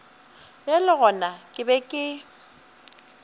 bjale gona ke be ke